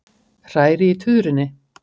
Hræri í tuðrunni.